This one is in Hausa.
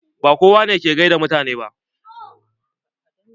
Ba kowa ne ke gaida mutane ba.